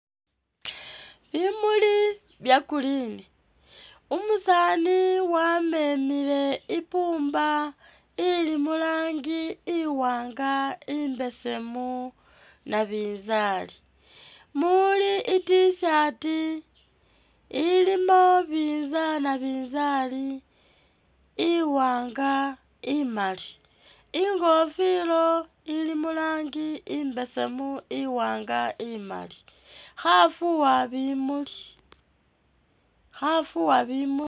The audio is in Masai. Bimuli bya green umusani wamemile ipumba ili mulangi iwanga, imbesemu nabizali, muli i't-shirt ilimo nabizali iwanga imali ingofila ili mulang imbesemu. iwanga imali khafuwa bimuli khafuwa bimuli